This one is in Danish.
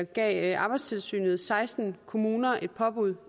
gav arbejdstilsynet seksten kommuner et påbud